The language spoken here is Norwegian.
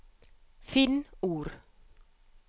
Finn ord